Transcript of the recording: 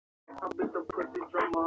Hver væri það?